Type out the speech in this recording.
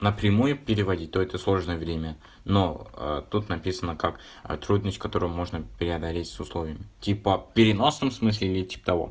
напрямую переводить то это сложное время но тут написано как трудность которую можно преодолеть с условиями типа в переносном смысле или типа того